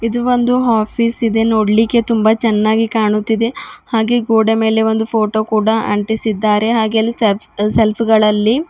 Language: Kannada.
ಇದು ಒಂದು ಆಫೀಸ್ ಇದೆ ನೋಡ್ಲಿಕ್ಕೆ ತುಂಬಾ ಚೆನ್ನಾಗಿ ಕಾಣುತ್ತಿದೆ ಹಾಗೆ ಗೋಡೆ ಮೇಲೆ ಒಂದು ಫೋಟೋ ಕೂಡ ಅಂಟಿಸಿದ್ದಾರೆ ಹಾಗೆ ಅಲ್ಲಿ ಸೆಬ್ ಸೆಲ್ಫ್ ಗಳಲ್ಲಿ --